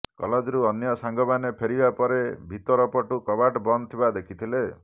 କଲେଜରୁ ଅନ୍ୟ ସାଙ୍ଗମାନେ ଫେରିବା ପରେ ଭିତରୁ ପଟୁ କବାଟ ବନ୍ଦ ଥିବା ଦେଖିଥିଲେ